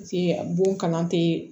Paseke bon kalan te